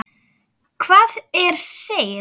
Hvað er seil?